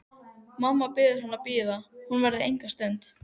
Mamma biður hann að bíða, hún verði enga stund.